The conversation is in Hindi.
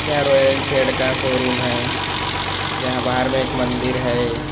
का शोरूम है यहाँ बाहर में एक मंदिर है।